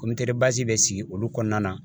bɛ sigi olu kɔnɔna na